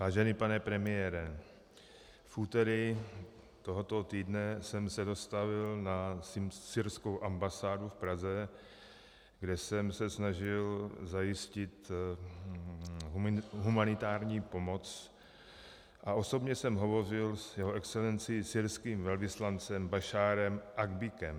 Vážený pane premiére, v úterý tohoto týdne jsem se dostavil na syrskou ambasádu v Praze, kde jsem se snažil zajistit humanitární pomoc, a osobně jsem hovořil s Jeho Excelencí syrským velvyslancem Basharem Akbikem.